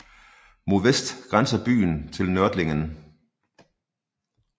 Mod vest grænser byen til Nördlingen